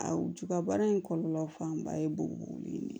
A ju ka baara in kɔlɔlɔ fanba ye bugule in de ye